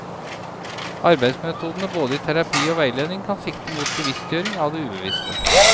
Arbeidsmetodene både i terapi og veiledning kan sikte mot bevisstgjøring av det ubevisste.